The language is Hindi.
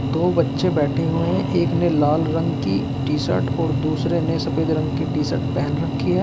दो बच्चे बैठे हुए हैं एक ने लाल रंग की टी शर्ट और दूसरे ने सफेद रंग की टी शर्ट पहन रखी है।